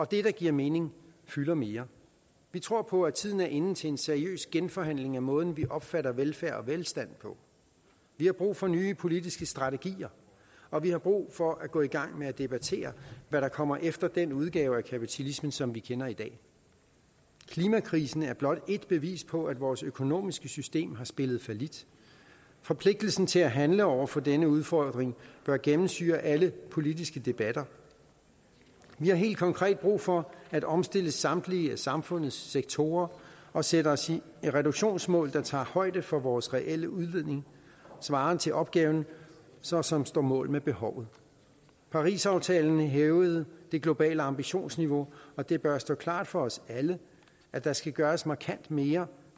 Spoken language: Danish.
det det giver mening fylder mere vi tror på at at tiden er inde til en seriøs genforhandling af måden vi opfatter velfærd og velstand på vi har brug for nye politiske strategier og vi har brug for at gå i gang med at debattere hvad der kommer efter den udgave af kapitalismen som vi kender i dag klimakrisen er blot ét bevis på at vores økonomiske system har spillet fallit forpligtelsen til at handle over for denne udfordring bør gennemsyre alle politiske debatter vi har helt konkret brug for at omstille samtlige af samfundets sektorer og sætte os reduktionsmål der tager højde for vores reelle udledning svarende til opgaven som så står mål med behovet parisaftalen hævede det globale ambitionsniveau og det bør stå klart for os alle at der skal gøres markant mere